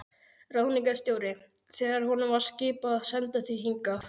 Ráðningarstjóri, þegar honum var skipað að senda þig hingað.